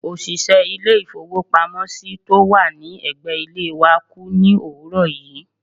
òṣìṣẹ́ ilé-ìfowópamọ́sí tó wà ní ẹ̀gbẹ́ ilé wa kú ní òwúrọ̀ yìí.